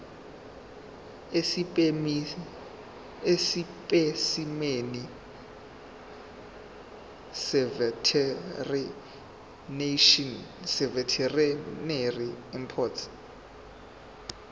esipesimeni seveterinary import